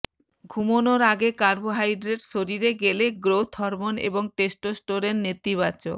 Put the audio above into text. ঘুমনোর আগে কার্বোহাইড্রেট শরীরে গেলে গ্রোথ হরমোন এবং টেস্টোস্টেরন নেতিবাচক